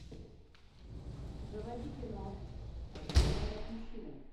заводи кино о чем говорят мужчины